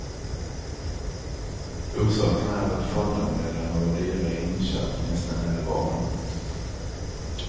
Orsaken är att fondandelarna var dyra i inköp nästa hela våren.